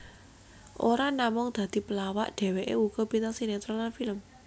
Ora namung dadi pelawak dheweké uga bintang sinetron lan film